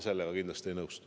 Sellega ma kindlasti ei nõustu.